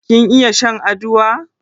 Kin iya shan aduwa?